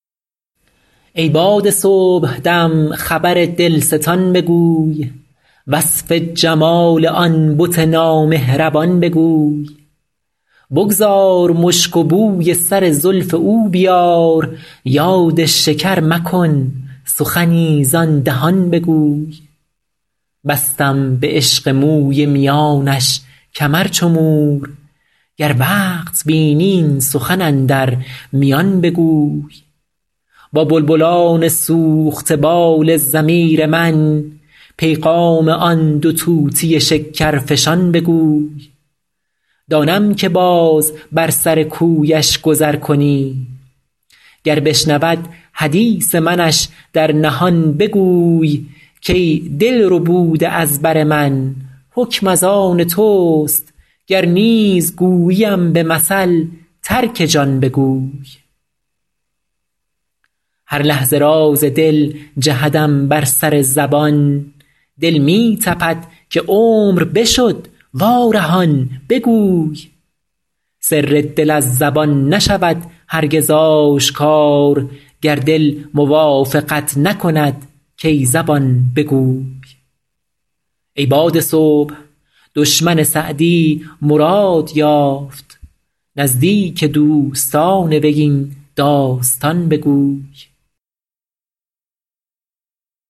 ای باد صبحدم خبر دلستان بگوی وصف جمال آن بت نامهربان بگوی بگذار مشک و بوی سر زلف او بیار یاد شکر مکن سخنی زآن دهان بگوی بستم به عشق موی میانش کمر چو مور گر وقت بینی این سخن اندر میان بگوی با بلبلان سوخته بال ضمیر من پیغام آن دو طوطی شکرفشان بگوی دانم که باز بر سر کویش گذر کنی گر بشنود حدیث منش در نهان بگوی کای دل ربوده از بر من حکم از آن توست گر نیز گوییم به مثل ترک جان بگوی هر لحظه راز دل جهدم بر سر زبان دل می تپد که عمر بشد وارهان بگوی سر دل از زبان نشود هرگز آشکار گر دل موافقت نکند کای زبان بگوی ای باد صبح دشمن سعدی مراد یافت نزدیک دوستان وی این داستان بگوی